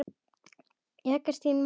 Jagast í manni alla daga.